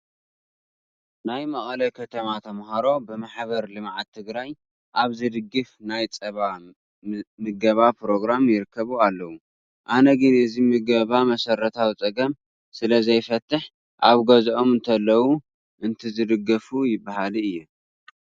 ናይ መቐለ ከተማ ተመሃሮ ብማሕበር ልምዓት ትግራይ ኣብ ዝድገፍ ናይ ፀባ ምገባ ፕሮግራም ይርከቡ ኣለዉ፡፡ ኣነ ግን እዚ ምገባ መሰረታዊ ፀገም ስለዘይፈትሕ ኣብ ገዝኦም እንተለዉ እንተዝድገፉ በሃሊ እየ፡፡